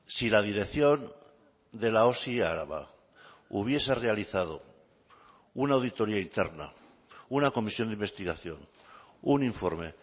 si la dirección de la osi araba hubiese realizado una auditoría interna una comisión de investigación un informe